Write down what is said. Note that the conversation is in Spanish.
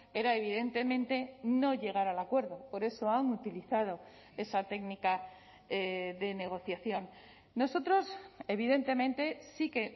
era evidentemente no llegar al acuerdo por eso han utilizado esa técnica de negociación nosotros evidentemente sí que